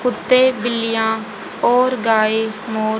कुत्ते बिल्लियां और गाय मोर--